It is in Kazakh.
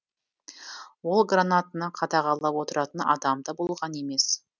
ол гранатаны қадағалап отыратын адам да болған емес